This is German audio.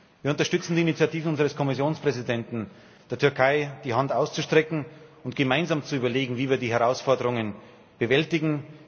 Wir unterstützen die Initiative unseres Kommissionspräsidenten, der Türkei die Hand auszustrecken und gemeinsam zu überlegen, wie wir die Herausforderungen bewältigen.